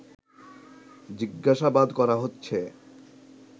জিজ্ঞাসাবাদ করা হচ্ছে